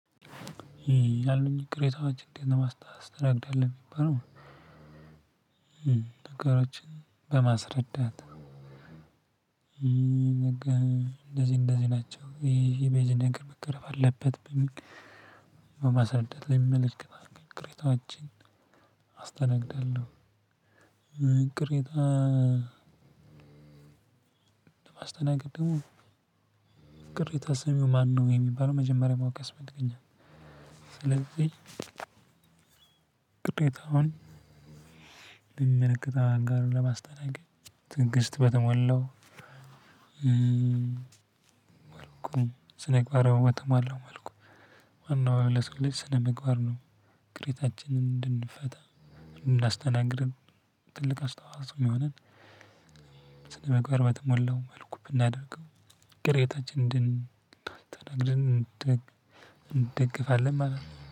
ያለኝ ቅሬታዎች እንዴት ለማስታወስ ትረዳለህ የሚባለው ነገሮችን በማስረዳት እንደዚህ እንደዚህ ናቸው። ይሄ የእነዚን ነገር መቅረፍ አለበት። በማስረዳ ለመመለከተ ቅሬታዎችን አስተናግዳለሁ። ቅሬታ ለማስተናገድ ደግሞ ቅሬታ ሰሚው ማነው? የሚባለው መጀመሪያ ማወቅ ያስፈልገኛል። ስለዚህ ቅሬታውን ለሚመለከተው አካል ለማስተናገድ ትዕግስት በተሞላው መልኩን ስነምግባር በተሞላው መልኩ። ዋናው ለሰው ልጅ ስነምግባር ነው። ቅሬታችንን እንድንፈታ እንድናስተናግድም ትልቅ አስተዋጽኦ የሚሆነን ስነምግባር በተሞላው መልኩ ብናደርገው። ቅሬታችንን እደንስተናግድ እንደገፋለን ማለት ነው